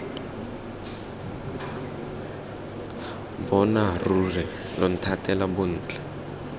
bona ruri lo nthatela bontle